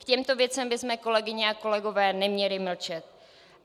K těmto věcem bychom, kolegyně a kolegové, neměli mlčet.